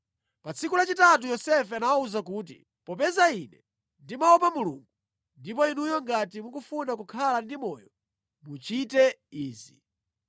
Pa tsiku lachitatu Yosefe anawawuza kuti, “Popeza ine ndimaopa Mulungu, ndipo inuyo ngati mukufuna kukhala ndi moyo muchite izi: